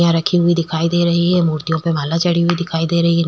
यहां रखी हुई दिखाई दे रही है मूर्तियों पे माला चढ़ी हुई दिखाई दे रही है।